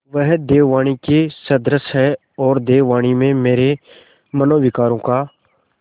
वह देववाणी के सदृश हैऔर देववाणी में मेरे मनोविकारों का